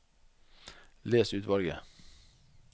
Les utvalget